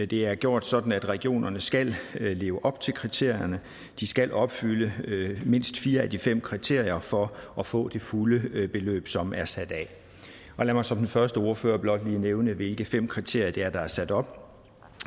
det er gjort sådan at regionerne skal leve op til kriterierne de skal opfylde mindst fire af de fem kriterier for at få det fulde beløb som er sat af lad mig som den første ordfører blot lige nævne hvilke fem kriterier det er der er sat op